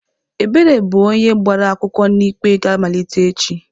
Ebere bụ onye gbara akwụkwọ na ikpe ga-amalite echi.